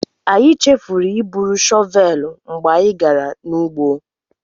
Anyị chefuru iburu shọvelụ mgbe anyị gara n'ugbo.